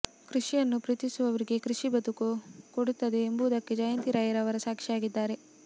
ಕೃಷಿಯನ್ನು ಪ್ರೀತಿಸುವವರಿಗೆ ಕೃಷಿ ಬದುಕು ಕೊಡುತ್ತದೆ ಎಂಬುದಕ್ಕೆ ಜಯಂತಿ ರೈಯವರು ಸಾಕ್ಷಿಯಾಗಿದ್ದಾರೆ